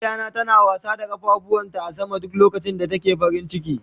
Jaririya na ta daya yi wasa da kafafuwan ta a sama duk lokacin da take cikin farin ciki.